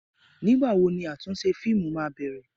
Ìgbà wo ni àtúnṣe fíìmù máa bẹ̀rẹ̀?